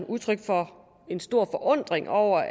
udtryk for en stor forundring over